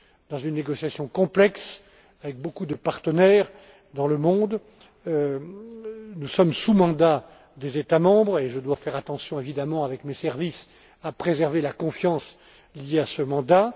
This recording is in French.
mieux. Dans une négociation complexe avec beaucoup de partenaires dans le monde, nous sommes sous mandat des États membres, et je dois faire attention, évidemment, avec mes services, à préserver la confiance liée à